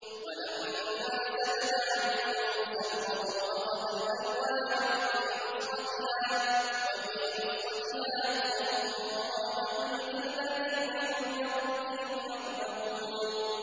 وَلَمَّا سَكَتَ عَن مُّوسَى الْغَضَبُ أَخَذَ الْأَلْوَاحَ ۖ وَفِي نُسْخَتِهَا هُدًى وَرَحْمَةٌ لِّلَّذِينَ هُمْ لِرَبِّهِمْ يَرْهَبُونَ